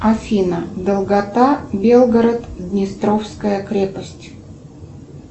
афина долгота белгород днестровская крепость